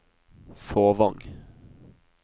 Fåvang